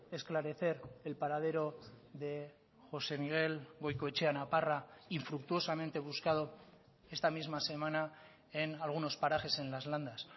esclarecer el paradero de josé miguel goikoetxea naparra infructuosamente buscado esta misma semana en algunos parajes en las landas